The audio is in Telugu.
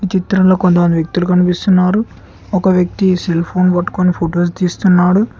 చిత్రంలో కొంతమంది వ్యక్తులు కనిపిస్తున్నారు ఒక వ్యక్తి సెల్ ఫోన్ పట్టుకొని ఫొటోస్ తీస్తున్నాడు.